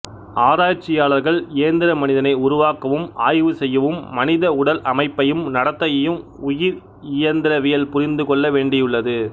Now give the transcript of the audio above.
ஆராய்ச்சியாளர்கள் இயந்திர மனிதனை உருவாக்கவும் ஆய்வு செய்யவும் மனித உடல் அமைப்பையும் நடத்தையையும் உயிர் இயந்திரவியல்புரிந்துகொள்ள வேண்டியுள்ளது